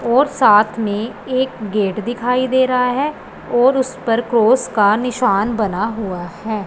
और साथ में एक गेट दिखाई दे रहा है और उसे पर क्रॉस का निशान बना हुआ है।